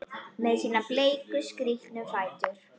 Með sína bleiku, skrítnu fætur?